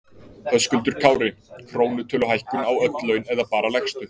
Höskuldur Kári: Krónutöluhækkun á öll laun eða bara lægstu?